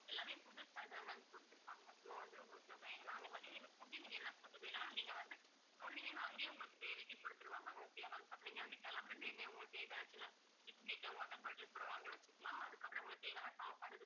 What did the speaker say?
எல்லாமே புதுசாதான் ma'am கொடுத்திருப்பாங்க so வந்து உங்களுக்கு பயம் வேணாம் அதே மாதிரி நீங்க food நீங்க என்ன food வேணும்னாலும் நீங்க வந்து சொன்னீங்கன்னா அங்கேயே உங்களுக்கு தேவைக்கு கொடுத்திருவாங்க. okay யா ma'am நீங்க வந்து கிளம்புற time ஏ உங்களுக்கு biscuit ஓ water bottles கூட வாங்கி வச்சுக்கலாம். அதுக்கப்புறம் உங்களுக்கு தேவையான சாப்பாடு